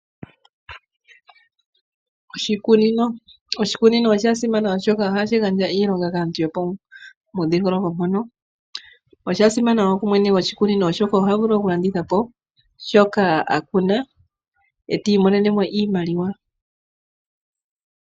Oshikunino, oshikunino osha simana oshoka ohashi gandja iilonga kaantu yo pomudhingoloko mpono. Osha simana wo ku mwene gwoshikunino oshoka oha vulu oku landitha po shoka a kuna, e ta imonene mo iimaliwa.